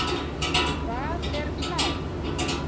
Hvað er klám?